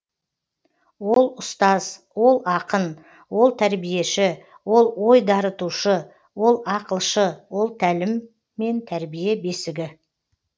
ол ұстаз ол ақын ол тәрбиеші ол ой дарытушы ол ақылшы ол тәлім мен тәрбие бесігі